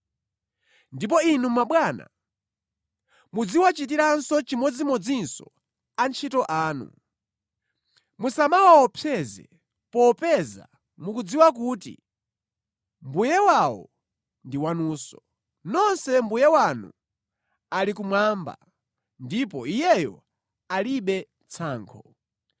Ndipo inu mabwana, muziwachitiranso chimodzimodzi antchito anu. Musamawaopseze, popeza mukudziwa kuti Mbuye wawo ndi wanunso, nonse Mbuye wanu ali kumwamba, ndipo Iyeyo alibe tsankho.